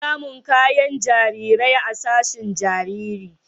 Ana samun kayan jarirai a sashin jariri.